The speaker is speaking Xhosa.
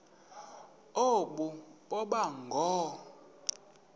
aba boba ngoo